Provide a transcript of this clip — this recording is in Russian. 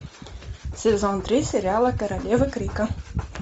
сезон три сериала королева крика